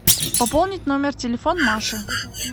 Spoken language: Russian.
пополнить номер телефона маши